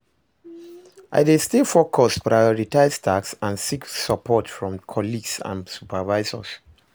I dey stay focused, prioritize tasks, and seek support from colleagues and supervisors.